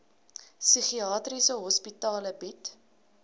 psigiatriese hospitale bied